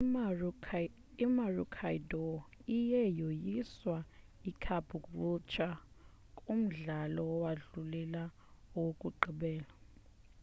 i-maroochydore iye yoyisa icaboolture kumdlalo owandulela owokugqibela